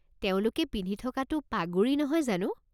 তেওঁলোকে পিন্ধি থকাটো পাগুৰি নহয় জানো?